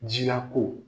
Jilako